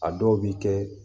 A dɔw bi kɛ